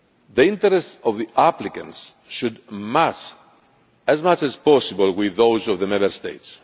The interests of the applicants should, as much as possible, match those of the Member States.